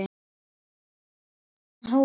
Bókaútgáfan Hólar.